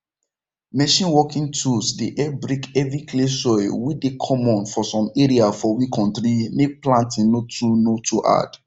machine working tools dey help break heavy clay soil wey dey common for some area for we kontri make planting no too no too hard